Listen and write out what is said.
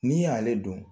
N'i y'ale dun